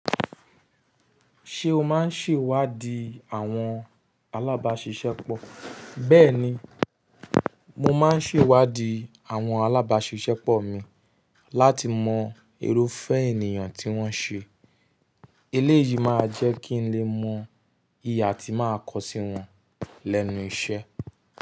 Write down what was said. Ṣé o máa ń ṣèwádìí àwọn alábáṣiṣẹ́pọ̀? Bẹ́ẹ̀ni, mo máa ń ṣèwádìí àwọn alábáṣiṣẹ́pọ̀ mi láti mọ irúfẹ́ ènìyàn tí wọ́n ṣe. Eléyìí máa jẹ́ kí n lè mọ ìhà tí màá kọ sí wọn lẹ́nu iṣẹ́.